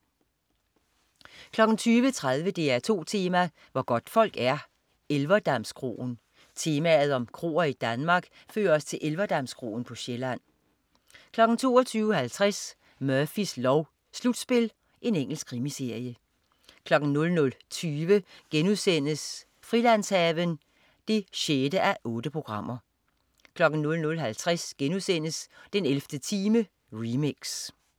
20.30 DR2 Tema: Hvor godtfolk er. Elverdamskroen. Temaet om kroer i Danmark fører os til Elverdamskroen på Sjælland 22.50 Murphys lov: Slutspil. Engelsk krimiserie 00.20 Frilandshaven 6:8* 00.50 Den 11. time remix*